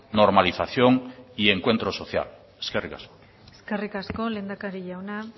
normalización y encuentro social eskerrik asko eskerrik asko lehendakari jauna